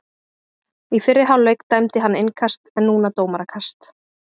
Í fyrri hálfleik dæmdi hann innkast en núna dómarakast.